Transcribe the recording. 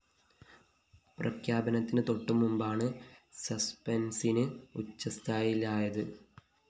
പ്രഖ്യാപനത്തിന് തൊട്ടു മുമ്പാണ് സസ്‌പെന്‍സിന് ഉച്ചസ്ഥായിലായത്